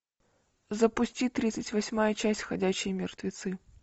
запусти тридцать восьмая часть ходячие мертвецы